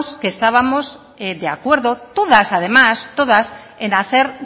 que estábamos de acuerdo todas además todas en hacer